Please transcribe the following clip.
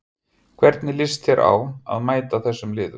Hvernig líst þér á að mæta þessum liðum?